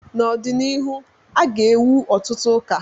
n'ọdịnihu, a ga-ewu ọtụtụ ụka